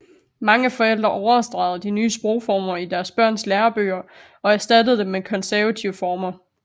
Mange forældre overstregede de nye sprogformer i deres børns lærebøger og erstattede dem med konservative former